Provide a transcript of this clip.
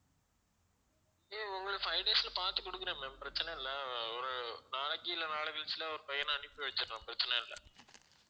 ஹம் உங்களுக்கு five days ல பார்த்து குடுக்கிறேன் ma'am பிரச்சனை இல்ல அஹ் ஒரு நாளைக்கு இல்ல நாளை கழிச்சு இல்ல ஒரு பையனை அனுப்பி வெச்சிடுறேன் பிரச்சனை இல்லை